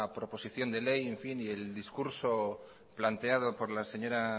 proposición de ley y el discurso planteado por la señora